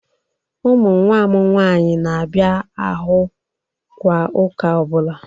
Ụmụ nwa m nwaanyị na-abịa ahụ kwa ụka ọbụla.